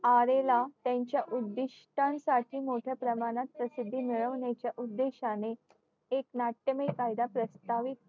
ला त्यांच्या उधीष्टांसाठी मोठ्या प्रमाणात प्रसिद्धी मिळवण्याच्या उद्धीस्ठ्ठाने एक नाट्यमयी कायदा प्रस्थावित